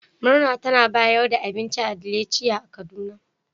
Murna tana bayar da abinci a Delicia kaduna.